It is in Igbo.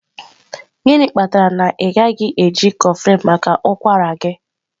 gịnị kpatara na ị gaghị eji kofflin maka ụkwara gị?